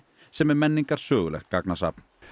sem er menningarsögulegt gagnasafn